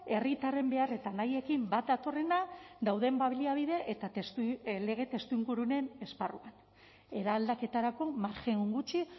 herritarren behar eta nahiekin bat datorrena dauden baliabide eta lege testuingurunen esparruan eraldaketarako margen gutxi